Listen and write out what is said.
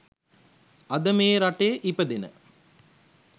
අද මේ රටේ ඉපදෙන